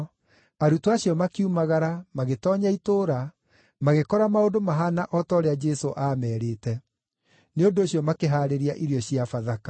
Arutwo acio makiumagara, magĩtoonya itũũra, magĩkora maũndũ mahaana o ta ũrĩa Jesũ aamerĩte. Nĩ ũndũ ũcio makĩhaarĩria irio cia Bathaka.